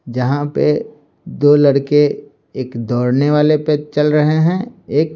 जहाँ पे दो लड़के एक दौड़ने वाले पर चल रहे हैं एक --